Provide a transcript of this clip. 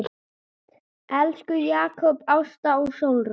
Elsku Jakob, Ásta og Sólrún.